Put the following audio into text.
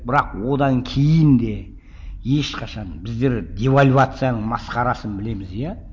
бірақ одан кейін де ешқашан біздер девальвацияның масқарасын білеміз иә